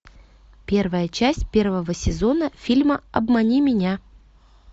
первая часть первого сезона фильма обмани меня